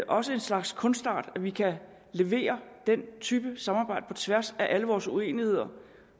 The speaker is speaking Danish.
også en slags kunstart at vi kan levere den type samarbejde på tværs af alle vores uenigheder